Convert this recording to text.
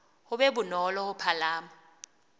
ho be bonolo ho palama